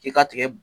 I ka tigɛ